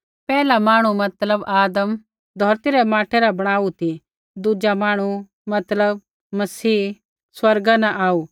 पैहला मांहणु मतलब आदम धौरती रै माटै रा बणाऊ ती दुज़ा मांहणु मतलब मसीह स्वर्गा न आऊ